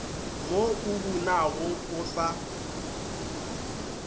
mo o bunago o sa